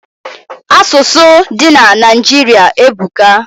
Asusu di na Naijiri ebuka